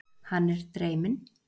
Hann er dreyminn.